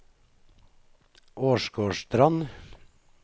Åsgårdstrand